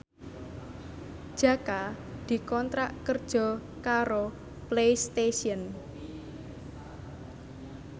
Jaka dikontrak kerja karo Playstation